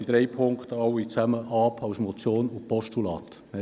Die SVP lehnt alle drei Ziffern als Motion und Postulat ab.